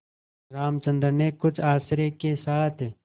रामचंद्र ने कुछ आश्चर्य के साथ